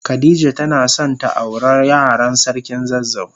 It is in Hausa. Khadijah tana son ta aure Yaran sarkin zazzau.